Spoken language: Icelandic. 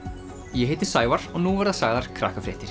ég heiti Sævar og nú verða sagðar